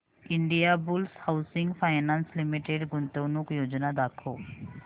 Indiabulls housing finance limited गुंतवणूक योजना दाखव